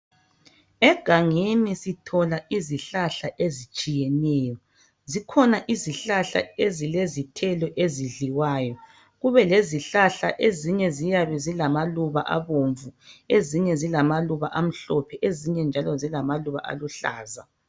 Egangeni sithola izihlahla ezitshiyeneyo. Zikhona izihlahla ezilezithelo ezidliwayo. Kube lezihlahla ezinye ziyabe zilamaluba abomvu ezinye zilamaluba amhlophe ezinye njalo zilamaluba aluhlaza.